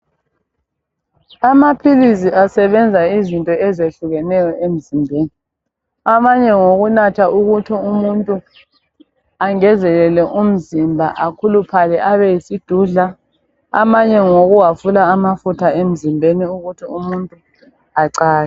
Amaphilisi asebenza izinto ezehlukeneyo emzimbeni. Amanye ngawokunatha ukuthi umuntu angezelele umzimba akhuluphale abe yisidudla amanye ngawokuphungula amafutha emzimbeni ukuthi umuntu acake